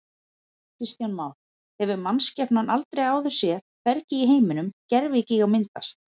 Kristján Már: Hefur mannskepnan aldrei áður séð, hvergi í heiminum, gervigíga myndast?